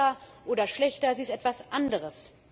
Sie ist nicht besser oder schlechter, sie ist etwas anderes.